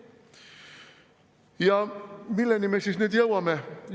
Ja milleni me siis nüüd jõuame?